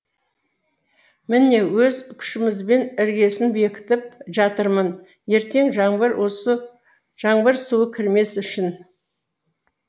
міне өз күшімізбен іргесін бекітіп жатырмын ертең жаңбыр суы кірмес үшін